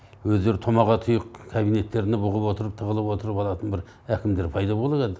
өздері томаға тұйық кабинеттерінде бұғып отырып тығылып отырып алатын бір әкімдер пайда болады әлі